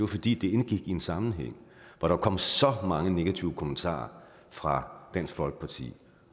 fordi det indgik i en sammenhæng hvor der kom så mange negative kommentarer fra dansk folkeparti